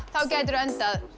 þá gætirðu endað